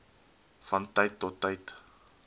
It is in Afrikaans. van tyd tot